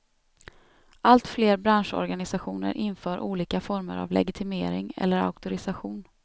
Allt fler branschorganisationer inför olika former av legitimering eller auktorisation.